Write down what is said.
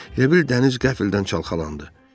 Elə bil dəniz qəflətən çalxalandı.